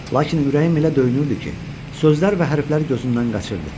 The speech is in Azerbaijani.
Lakin ürəyim elə döyünürdü ki, sözlər və hərflər gözümdən qaçırdı.